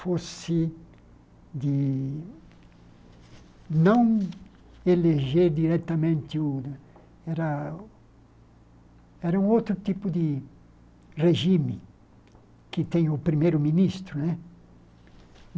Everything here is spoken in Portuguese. fosse de não eleger diretamente o... Era era um outro tipo de regime que tem o primeiro-ministro, né?